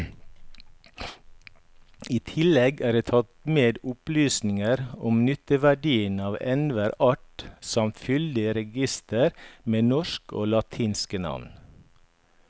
I tillegg er det tatt med opplysninger om nytteverdien av enhver art samt fyldig reigister med norske og latinske navn.